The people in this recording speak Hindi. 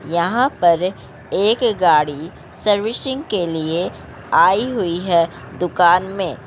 यहा पर एक गाड़ी सर्विसिंग के लिए आई हुई है दुकान में।